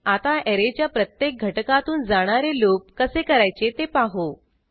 आता ऍरेच्या प्रत्येक घटकातून जाणारे लूप कसे करायचे ते पाहू